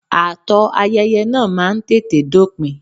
Ààtò ayẹyẹ náà máa ń tètè dópin.